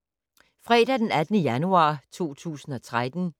Fredag d. 18. januar 2013